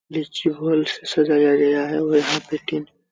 नीचे हॉल से सजाया गया है और यहाँ पे तीन --